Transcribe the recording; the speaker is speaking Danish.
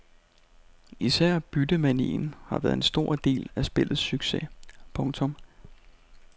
Især byttemanien har været en stor del af spillets succes. punktum